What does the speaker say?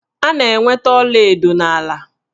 A na-enweta ọlaedo n'ala